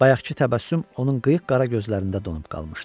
Bayaqkı təbəssüm onun qıyıq qara gözlərində donub qalmışdı.